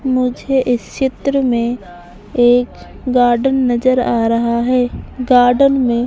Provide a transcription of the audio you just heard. मुझे इस चित्र में एक गार्डन नजर आ रहा हैं गार्डन में --